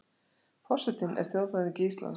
Forsetinn er þjóðhöfðingi Íslands.